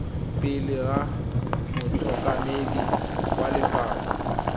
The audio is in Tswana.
pele ga motlhankedi wa lefapha